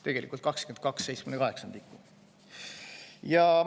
Tegelikult 22/78.